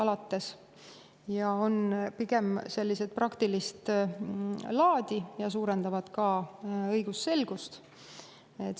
Need on pigem praktilist laadi ja suurendavad ka õigusselgust.